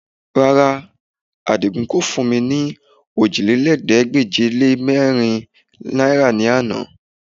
Rárá, Àdìgún kò fún mi ní ọòjìlélẹ́ẹ̀ẹ́dégbèje-lé-mẹ́rin náìrà ní àná